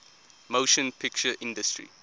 motion picture industry